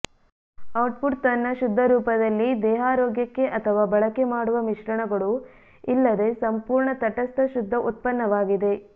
output ತನ್ನ ಶುದ್ಧ ರೂಪದಲ್ಲಿ ದೇಹಾರೋಗ್ಯಕ್ಕೆ ಅಥವಾ ಬಳಕೆ ಮಾಡುವ ಮಿಶ್ರಣಗಳು ಇಲ್ಲದೆ ಸಂಪೂರ್ಣ ತಟಸ್ಥ ಶುದ್ಧ ಉತ್ಪನ್ನವಾಗಿದೆ